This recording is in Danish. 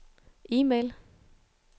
e-mail